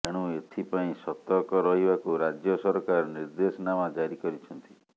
ଏଣୁ ଏଥିପାଇଁ ସତର୍କ ରହିବାକୁ ରାଜ୍ୟ ସରକାର ନିର୍ଦ୍ଦେଶନାମା ଜାରି କରିଛନ୍ତି